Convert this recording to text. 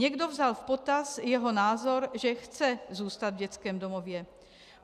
Někdo vzal v potaz jeho názor, že chce zůstat v dětském domově.